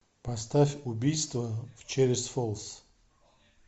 поставь убийство в черри фолс